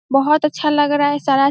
बोहोत अच्छा लग रहा है सारा --